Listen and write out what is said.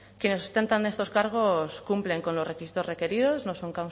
quienes ostentan estos cargos cumplen con los requisitos requeridos no son